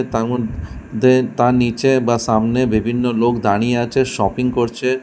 তার মধ্যে তার নিচে বা সামনে বিভিন্ন লোক দাঁড়িয়ে আছে শপিং করছে।